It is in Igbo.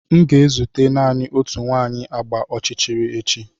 M ga-ezute naanị otu nwanyị agba ọchịchịrị echi.